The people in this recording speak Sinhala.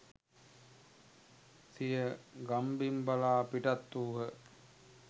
සිය ගම්බිම් බලා පිටත් වූහ